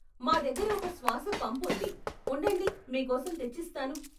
మా దగ్గర ఒక శ్వాస పంప్ ఉంది, ఉండండి మీకోసం తెచ్చిస్తాను.